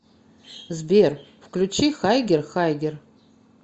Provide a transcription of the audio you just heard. сбер включи хайгер хайгер